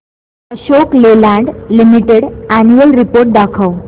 Ashok Leyland limited annual report दाखव